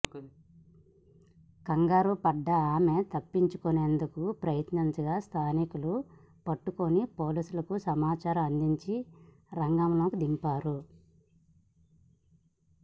కంగారు పడ్డ ఆమె తప్పించుకునేందుకు యత్నించగా స్థానికులు పట్టుకుని పోలీసులకు సమాచారం అందించి రంగంలోకి దింపారు